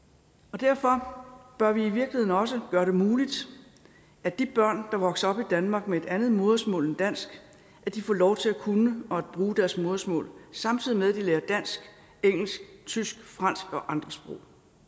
derfor bør vi i virkeligheden også gøre det muligt at de børn der vokser op i danmark med et andet modersmål end dansk får lov til at kunne og at bruge deres modersmål samtidig med at de lærer dansk engelsk tysk fransk og andre sprog